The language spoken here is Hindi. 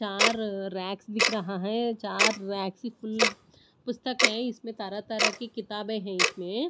चार रैक्स दिख रहा है चार रैक्स फुल पुस्तक है इसमें तरह-तरह की किताबें है इसमें--